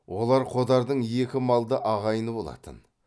олар қодардың екі малды ағайыны болатын